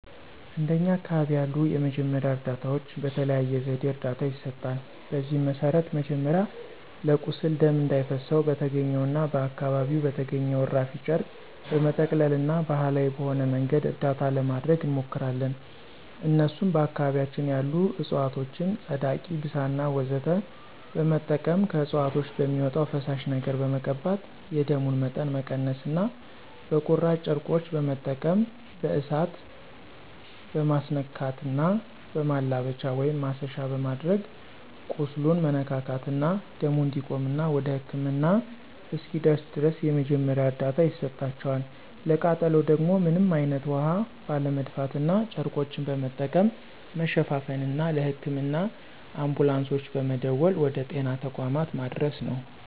እንደኛ አካባቢ ያሉ የመጀመሪያ እርዳታዎች በተለያየ ዘዴ እርዳታ ይሰጣል። በዚህም መሰረት መጀመሪያ ለቁስል ደም እንዳይፈሰው በተገኘውና አካባቢው በተገኘው እራፊ ጨርቅ በመጠቅለልና ባሀላዊ በሆነ መንገድ እርዳታ ለማድረግ እንሞክራለን እነሱም በአካባቢያችን ያሉ እፅዋቶችን ፀዳቂ፣ ብሳና ወዘተ በመጠቀም ከእፅዋቶች በሚወጣው ፈሳሽ ነገር በመቀባት የደሙን መጠን መቀነስና በቁራጭ ጨርቆች በመጠቀም በእሳት መማስነካትና በማላበቻ(ማሰሻ)በማድረግ ቁስሉን መነካካትና ደሙ እንዲቆምና ወደ ህክምና እስኪደርስ ድረስ የመጀመሪያ እርዳታ ይሰጣቸዋል፣ ለቃጠሎ ደግሞ ምንም አይነት ውሀ ባለመድፋትና ጨርቆችን በመጠቀም መሸፋፈንና ለህክምና አንቡላንሶች በመደወል ወደ ጤና ተቋማት ማድረስ ነው።